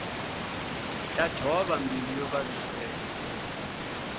ta thova mbilu yo vaviseka